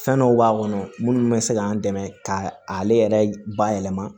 Fɛn dɔw b'a kɔnɔ munnu bɛ se k'an dɛmɛ k'a ale yɛrɛ bayɛlɛma